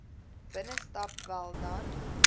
binnestap wel dan